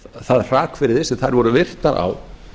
það hrakvirði sem þær voru virtar á